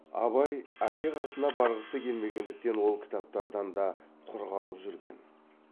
абай әке қасына барғысы келмегендіктен ол кітаптардан да құр қалып жүрген